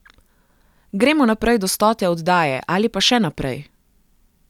Gremo naprej do stote oddaje, ali pa še naprej!